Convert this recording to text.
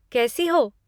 कैसी हो?